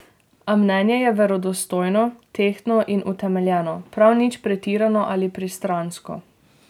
A mnenje je verodostojno, tehtno in utemeljeno, prav nič pretirano ali pristransko.